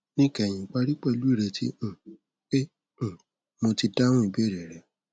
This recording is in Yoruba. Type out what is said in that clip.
níkẹyìn parí pẹlú ìrètí um pé um mo ti dáhùn ìbéèrè rẹ